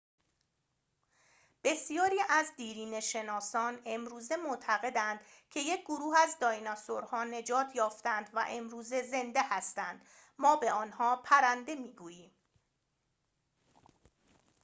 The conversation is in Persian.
بسیاری از دیرینه‌شناسان امروزه معتقدند که یک گروه از دایناسورها نجات یافتند و امروز زنده هستند ما به آنها پرنده می‌گوییم